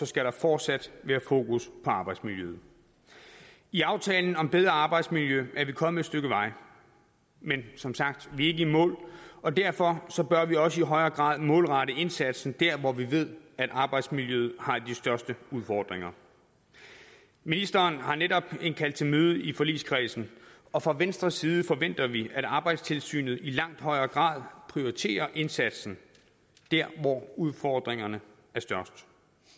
skal der fortsat være fokus på arbejdsmiljøet i aftalen om bedre arbejdsmiljø er vi kommet et stykke vej men som sagt vi er ikke i mål og derfor bør vi også i højere grad målrette indsatsen derhen hvor vi ved at arbejdsmiljøet har de største udfordringer ministeren har netop indkaldt til møde i forligskredsen og fra venstres side forventer vi at arbejdstilsynet i langt højere grad prioriterer indsatsen der hvor udfordringerne er størst